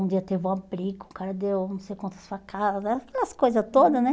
Um dia teve uma briga, o cara deu não sei quantas facadas, aquelas coisa toda, né?